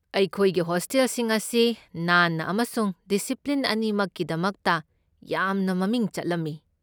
ꯑꯩꯈꯣꯏꯒꯤ ꯍꯣꯁꯇꯦꯜꯁꯤꯡ ꯑꯁꯤ ꯅꯥꯟꯕ ꯑꯃꯁꯨꯡ ꯗꯤꯁꯤꯄ꯭ꯂꯤꯟ ꯑꯅꯤꯃꯛꯀꯤꯗꯃꯛꯇ ꯌꯥꯝꯅ ꯃꯃꯤꯡ ꯆꯠꯂꯝꯃꯤ꯫